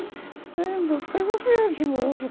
Lembro, foi uma viagem boa.